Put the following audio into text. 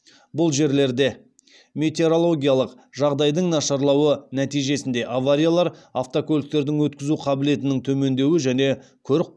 бұл жерлерде метеорологиялық жағдайдың нашарлауы нәтижесінде авариялар автокөліктердің өткізу қабілетінің төмендеуі